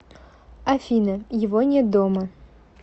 афина его нет дома